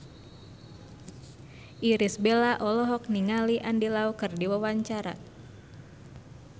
Irish Bella olohok ningali Andy Lau keur diwawancara